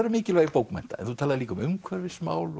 um mikilvægi bókmennta en þú talaðir líka um umhverfismál